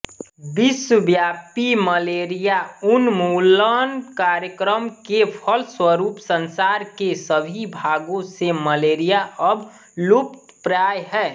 विश्वव्यापी मलेरिया उन्मूलन कार्यक्रम के फलस्वरूप संसार के सभी भागों से मलेरिया अब लुप्तप्राय है